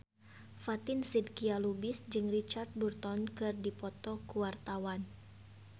Fatin Shidqia Lubis jeung Richard Burton keur dipoto ku wartawan